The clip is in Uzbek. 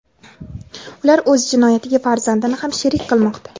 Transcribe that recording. ular o‘z jinoyatiga farzandini ham sherik qilmoqda.